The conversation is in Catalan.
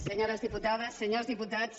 senyores diputades senyors diputats